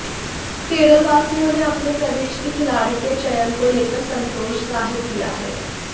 केरलवासियों ने अपने प्रदेश के खिलाड़ी के चयन को लेकर संतोष जाहिर किया है